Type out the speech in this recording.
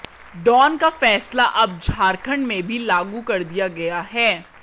down का फैसला अब झारखंड में भी लागू कर दिया गया है